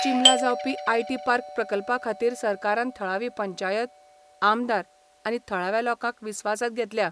चिंबला जावपी IT park प्रकल्पाखातीर सरकारान थळावी पंचायत, आमदार आनी थळाव्या लोकांक विस्वासात घेतल्या.